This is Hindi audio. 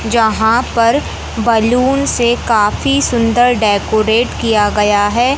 जहां पर बैलून से काफी सुंदर डेकोरेट किया गया है।